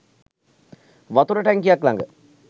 වතුර ටැංකියක් ළඟ